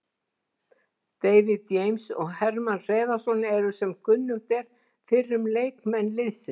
David James og Hermann Hreiðarsson eru sem kunnugt er fyrrum leikmenn liðsins.